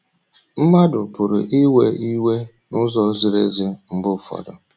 Mmadụ pụrụ iwe iwe n’ụzọ ziri ezi mgbe ụfọdụ.